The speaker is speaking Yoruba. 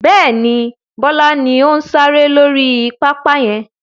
Bẹ́ẹ̀ni, Bọlá ni ó ń sáré lórí pápá yẹn